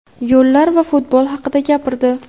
yo‘llar va futbol haqida gapirdi.